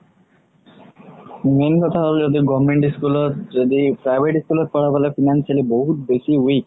main কথা হ'ল যদি government school ৰ যদি private school ত পঢ়াবলে financially বহুত বেচি weak